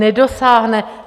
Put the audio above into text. Nedosáhne.